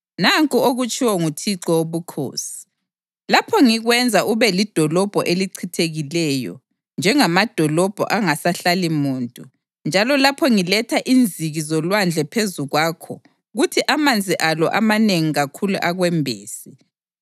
Nanku okutshiwo nguThixo Wobukhosi: Lapho ngikwenza ube lidolobho elichithekileyo, njengamadolobho angasahlali muntu, njalo lapho ngiletha inziki zolwandle phezu kwakho kuthi amanzi alo amanengi kakhulu akwembese,